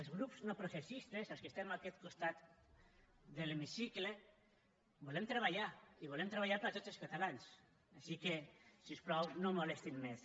els grups no processistes els que estem a aquest costat de l’hemicicle volem treballar i volem treballar per a tots els catalans així que si us plau no molestin més